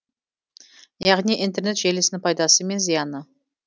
яғни интернет желісінің пайдасы мен зияны